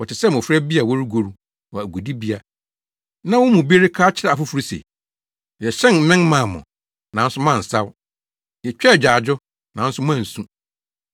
Wɔte sɛ mmofra bi a wɔregoru wɔ agodibea na wɔn mu bi reka akyerɛ afoforo se, “ ‘Yɛhyɛn mmɛn maa mo, nanso moansaw; yetwaa agyaadwo, nanso moansu.’